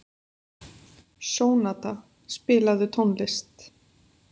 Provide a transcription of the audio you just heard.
Sónata, spilaðu tónlist.